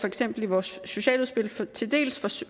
eksempel i vores socialudspil til dels